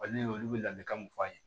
ne ye olu bɛ ladilikan mun f'a ye